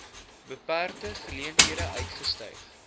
beperkte geleenthede uitgestyg